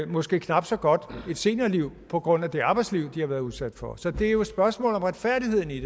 måske knap så godt et seniorliv på grund af det arbejdsliv de har været udsat for så det er jo et spørgsmål om retfærdigheden i